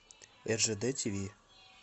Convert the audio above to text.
ржд тиви